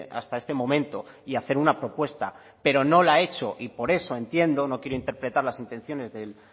hasta este momento y hacer una propuesta pero no la ha hecho y por eso entiendo no quiero interpretar las intenciones del